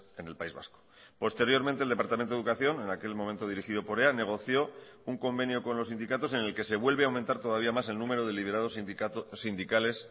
en el país vasco posteriormente el departamento de educación en aquel momento dirigido por ea negoció un convenio con los sindicatos en el que se vuelve a aumentar todavía más el número de liberados sindicales